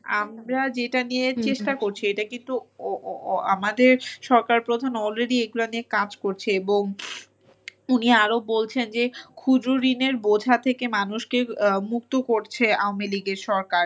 আমরা যেটা নিয়ে চেষ্টা করছিএটা কিন্তু ও~ও~ও আমাদের সরকার প্রধান already এইগুলা নিয়ে কাজ করছে এবং উনি আরো বলছেন যে খুঁজো ঋণের বোঝা থেকে মানুষকে আহ মুক্ত করছে আমেলীগের সরকার।